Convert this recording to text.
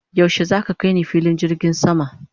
yaushe zaka kaini filin jirgin sama?